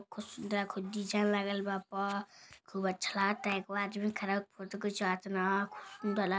खूब सुन्दर खूब डिज़ाइन लागल बा ओपर खूब अच्छा लागता एगो आदमी खड़ा हो के फोटो खिचवाब ताड़न खूब सुन्दर --